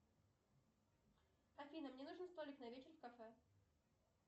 афина мне нужен столик на вечер в кафе